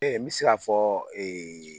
n mi si k'a fɔ